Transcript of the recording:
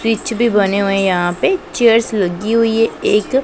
peach भी बने हुए यहां पे चीयर्स लगी हुई है एक--